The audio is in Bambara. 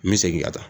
N bɛ segin ka taa